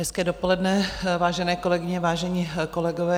Hezké dopoledne, vážené kolegyně, vážení kolegové.